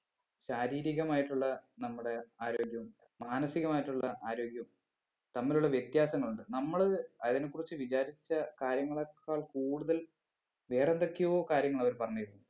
ശാരീരികമായിട്ടുള്ള നമ്മുടെ ആരോഗ്യവും മാനസികമായിട്ടുള്ള ആരോഗ്യവും തമ്മിലുള്ള വ്യത്യാസങ്ങളുണ്ട് നമ്മള് അതിനെ കുറിച്ച് വിചാരിച്ച കാര്യങ്ങളേക്കാൾ കൂടുതൽ വേറെന്തൊക്കെയോ കാര്യങ്ങൾ അവര് പറഞ്ഞ് തരുന്നുണ്ട്